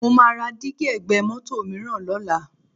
Mo máa ra dígí ẹ̀gbẹ́ mọ́tò mìíràn lọ́la